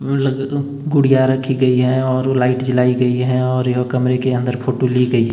गुड़िया रखी गयी है और लाइट जलायी गयी है और यह कमरे के अंदर फोटो ली गई--